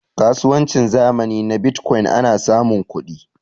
kasuwancin zamani na bitcokyin ana samun kudi